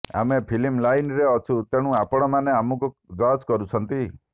ଆମେ ଫିଲ୍ମ ଲାଇନ୍ରେ ଅଛୁ ତେଣୁ ଆପଣମାନେ ଆମକୁ ଜଜ୍ କରୁଛନ୍ତି